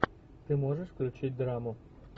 ты можешь включить драму